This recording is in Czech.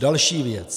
Další věc.